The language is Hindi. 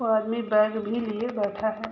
और आदमी बैग भी लिए बैठा है।